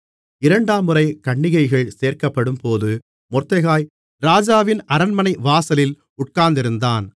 இரண்டாம்முறை கன்னிகைகள் சேர்க்கப்படும்போது மொர்தெகாய் ராஜாவின் அரண்மனை வாசலில் உட்கார்ந்திருந்தான்